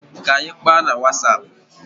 K'anyi kpaa na Wasap.